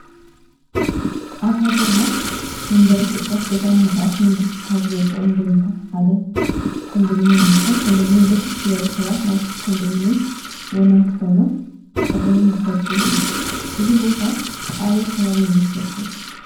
አብ ሃገርና መንበሪ ሕፅረት ገዛ ንምቅራፍ መንግስቲ ካብ ዘዉፃም ደንብታተ ሓዳ ኮንደሚነዮ እንትኮን ኮንደሚንዮም ብርክት ዝበለ ሰባት ናይ ኮንድሚንዮ ወነንቲ ኮይኖም ፀገሞም ዝፍትሕሉ እዩም ።እዝ ቦታ አበይ ከባቢ ይመስለኩም ?